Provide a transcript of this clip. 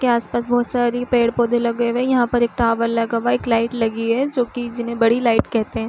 के आस-पास बहोत सारी पेड़-पौधे लगे हुए हैं। यहाँ पर एक टावर लगा हुआ है। एक लाइट लगी है जो कि जिन्हे बड़ी लाइट कहते हैं।